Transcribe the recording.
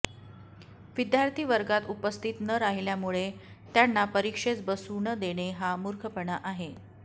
विद्यार्थी वर्गात उपस्थित न राहिल्यामुळे त्यांना परिक्षेस बसू न देणे हा मुर्खपणा आहे